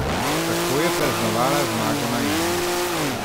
Kako je praznovala zmago na Emi?